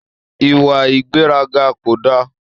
Ìwà ìgbéraga ko da.